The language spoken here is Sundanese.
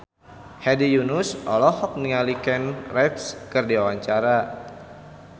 Hedi Yunus olohok ningali Keanu Reeves keur diwawancara